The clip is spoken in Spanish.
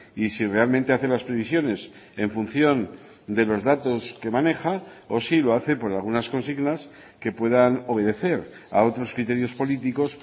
y si realmente hace las previsiones en función de los datos que maneja o si lo hace por algunas consignas que puedan obedecer a otros criterios políticos